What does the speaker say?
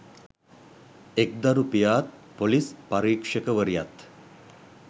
එක්දරු පියාත් ‍පොලිස් පරීක්ෂකවරියත්